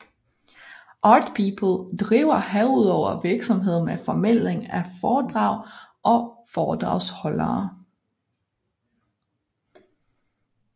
ArtPeople driver herudover virksomhed med formidling af foredrag og foredragsholdere